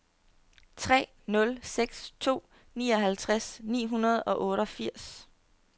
tre nul seks to nioghalvtreds ni hundrede og otteogfirs